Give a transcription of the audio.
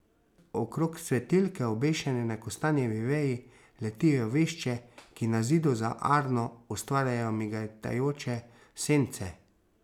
Okrog svetilke, obešene na kostanjevi veji, letijo vešče, ki na zidu za Arno ustvarjajo migetajoče sence.